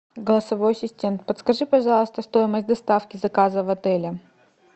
голосовой ассистент подскажи пожалуйста стоимость доставки заказа в отеле